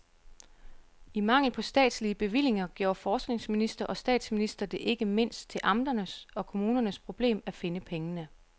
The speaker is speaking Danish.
I mangel på statslige bevillinger gjorde forskningsminister og statsminister det ikke mindst til amternes og kommunernes problem at finde pengene.